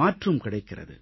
மாற்றும் கிடைக்கிறது